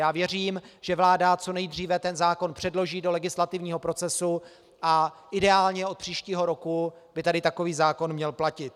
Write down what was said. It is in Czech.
Já věřím, že vláda co nejdříve ten zákon předloží do legislativního procesu a ideálně od příštího roku by tady takový zákon měl platit.